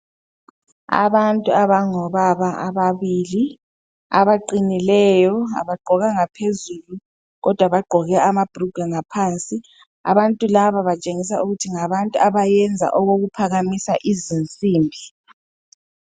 Abantu abangobaba ababili abaqinileyo abaqokanga phezulu kodwa baqoke ama bhulukwe ngaphansi, abantu laba betshengisa ukuthi ngabantu abeyenza ukuphakamisa izinsimbi.